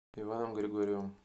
иваном григорьевым